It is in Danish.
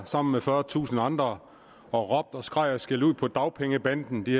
sammen med fyrretusind andre og råbte og skreg og skældte ud på dagpengebanden de